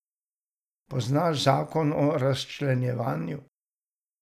Poznaš zakon o razčlenjevanju.